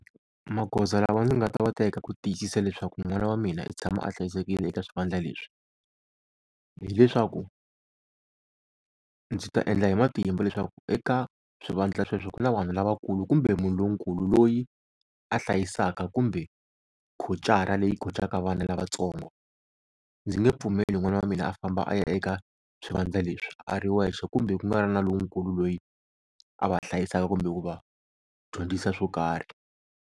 Magoza lawa ndzi nga ta wa teka ku tiyisisa leswaku n'wana wa mina i tshama a hlayisekile eka swivandla leswi, hileswaku ndzi ta endla hi matimba leswaku eka swivandla sweswo ku na vanhu lavakulu kumbe munhu lonkulu loyi a hlayisaka kumbe khocara leyi khocaka vana lavatsongo. Ndzi nge pfumeli n'wana wa mina a famba a ya eka swivandla leswi a ri wexe kumbe ku nga ri na lonkulu loyi a va hlayisaka kumbe ku va dyondzisa swo karhi.